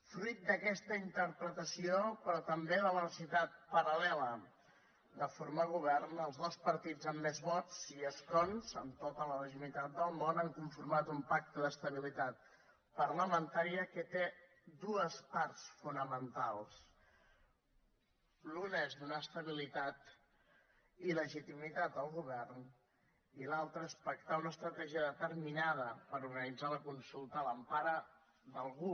fruit d’aquesta interpretació però també de la necessitat paral·lela de formar govern els dos partits amb més vots i escons amb tota la legitimitat del món han conformat un pacte d’estabilitat parlamentària que té dues parts fonamentals l’una és donar estabilitat i legitimitat al govern i l’altra és pactar una estratègia determinada per organitzar la consulta a l’empara d’algú